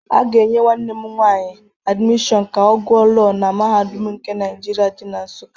A ga-enye nwanne m nwaanyị admishọn ka ọ gụọ Lọọ na Mahadum nke Naijirịa di na Nsụka.